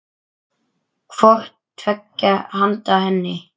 hvort tveggja handa henni.